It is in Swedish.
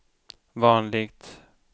vanligt